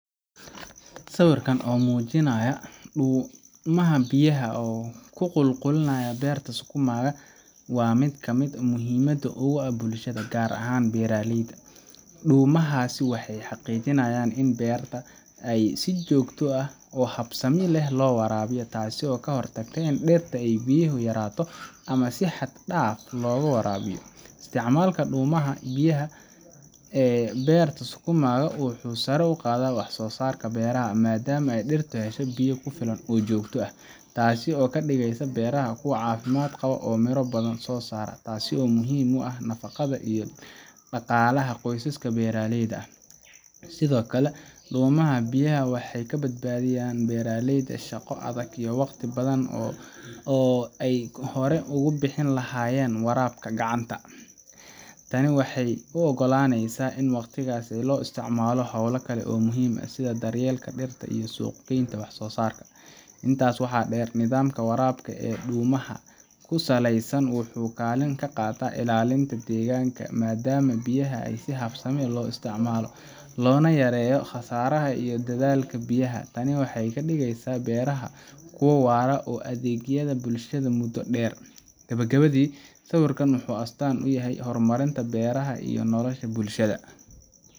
Sawirkan oo muujinaya dhuumaha biyaha ku qulqulaya beerta sukuma waa mid aad muhiim ugu ah bulshada, gaar ahaan beeralayda. Dhuumahaas waxay xaqiijiyaan in beeraha si joogto ah oo habsami leh loo waraabiyo, taasoo ka hortagta in dhirta ay biyo yaraato ama si xad dhaaf ah looga waraabiyo. Isticmaalka dhuumaha biyaha ee beerta sukuma wuxuu sare u qaadaa wax-soo-saarka beeraha, maadaama dhirtu hesho biyo ku filan oo joogto ah. Taasi waxay ka dhigaysaa beeraha kuwo caafimaad qaba oo miro badan soo saara, taasoo muhiim u ah nafqada iyo dhaqaalaha qoysaska beeralayda ah. Sidoo kale, dhuumaha biyaha waxay ka badbaadiyaan beeralayda shaqo adag iyo waqti badan oo ay hore ugu bixin lahaayeen waraabka gacanta. Tani waxay u oggolaaneysaa in waqtigaas loo isticmaalo hawlo kale oo muhiim ah sida daryeelka dhirta iyo suuqgeynta wax soo saarka. Intaa waxaa dheer, nidaamka waraabka ee dhuumaha ku saleysan wuxuu kaalin ka qaataa ilaalinta deegaanka, maadaama biyaha si habsami leh loo isticmaalo, loona yareeyo khasaaraha iyo daadadka biyaha. Tani waxay ka dhigaysaa beeraha kuwo waara oo u adeegaya bulshada muddo dheer. Gabagabadii, sawirkan wuxuu astaan u yahay horumarinta beeraha iyo nolosha bulshada,